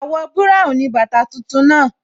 Àwọ̀ búráùn ni bàtà tuntun náà